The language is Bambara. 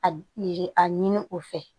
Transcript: A yi a ɲini o fɛ